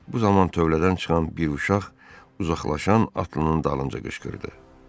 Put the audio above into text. Bu zaman tövlədən çıxan bir uşaq uzaqlaşan atlının dalınca qışqırdı: